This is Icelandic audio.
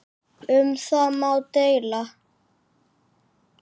Um það má deila.